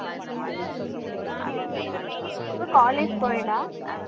உங்க college co ed ஆ